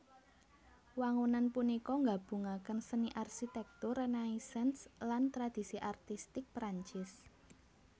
Wangunan punika nggabungaken seni arsitèktur Renaisans lan tradisi artistik Prancis